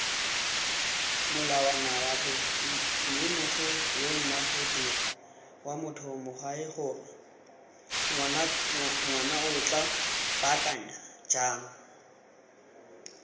molawanawa b mmemogoyonagodirwatogamaanoyagorengwanaotla baakanya jang